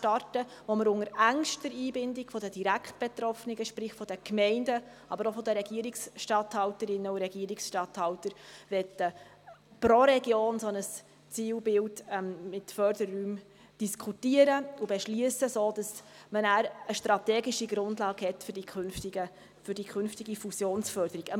Dabei möchten wir unter engster Einbindung der Direktbetroffenen, sprich der Gemeinden aber auch der Regierungstatthalterinnen und -statthalter, pro Region ein solches Zielfeld mit Förderräumen diskutieren und beschliessen, sodass man nachher eine strategische Grundlage für die künftige Fusionsförderung hat.